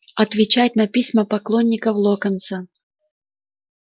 отвечать на письма поклонников локонса